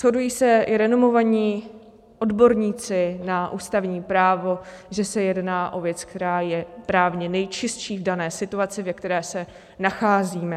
Shodují se i renomovaní odborníci na ústavní právo, že se jedná o věc, která je právně nejčistší v dané situaci, ve které se nacházíme.